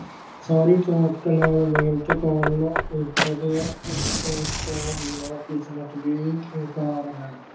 ਸਾਰੀ ਤਾਕਤ ਨਾਲ ਮਿਹਨਤ ਕਰਨ ਉੱਪਰ ਤੋਂ ਬਿਨਾਂ ਕਿਸਮਤ ਵੀ ਬੇਕਾਰ ਹੈ।